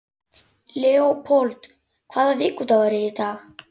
Leópold, hvaða vikudagur er í dag?